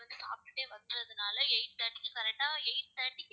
சாப்பிட்டுட்டே வந்ததுனால eight thirty க்கு correct ஆ eight thirty க்கு